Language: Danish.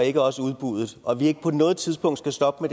ikke også udbuddet og at vi ikke på noget tidspunkt skal stoppe